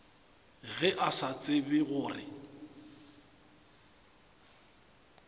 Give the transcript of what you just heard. ge a sa tsebe gore